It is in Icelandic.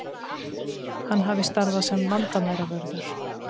Hann hafi starfað sem landamæravörður